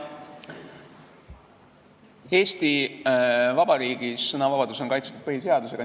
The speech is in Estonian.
Eesti Vabariigis on sõnavabadus kaitstud põhiseadusega.